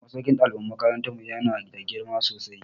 Masaukin ɗaliban makarantar mu ya na da girma sosai